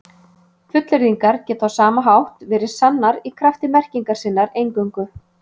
Fullyrðingar geta á sama hátt verið sannar í krafti merkingar sinnar eingöngu.